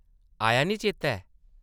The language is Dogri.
आया निं चेतै?